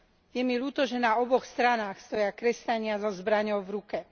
Je mi ľúto, že na oboch stranách stoja kresťania so zbraňou v ruke.